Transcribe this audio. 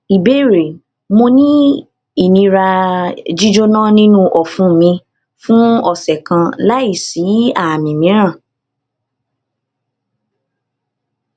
ìbéèrè mo ni inira jíjona ninu ọfun mi fun ọsẹ kan lai si aami miiran